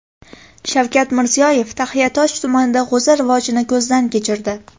Shavkat Mirziyoyev Taxiatosh tumanida g‘o‘za rivojini ko‘zdan kechirdi .